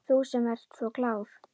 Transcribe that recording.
Þú sem ert svo klár.